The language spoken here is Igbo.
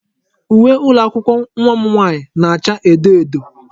Uwe ụlọ akwụkwọ nwa m nwaanyị na-acha edo edo.